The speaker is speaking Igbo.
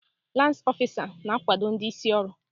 Lans ọfisa na-akwado ndị isi ọrụ.